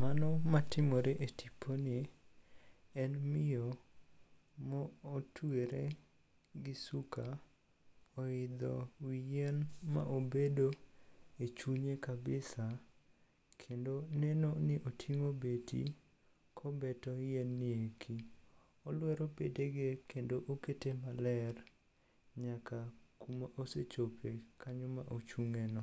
Mano matimore e tiponi en miyo motwere gi suka oidho wi yien ma obedo e chunye kabisa kendo neno ni oting'o beti kobeto yien ni eki. Olwero bedege kendo okete maler nyaka kuma osechope kanyo ma ochung'eno.